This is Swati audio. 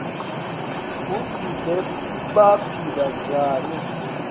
kutsi bebaphila njani